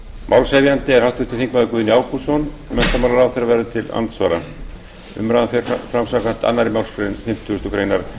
málshefjandi er háttvirtur þingmaður guðni ágústsson menntamálaráðherra verður til andsvara umræðan fer fram samkvæmt annarri málsgrein fimmtugustu grein